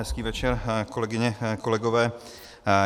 Hezký večer, kolegyně, kolegové.